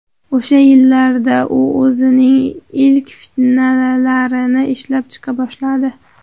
O‘sha yillarda u o‘zining ilk fintlarini ishlab chiqa boshladi.